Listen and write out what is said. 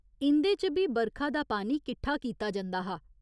इं'दे च बी बरखा दा पानी किट्ठा कीता जंदा हा।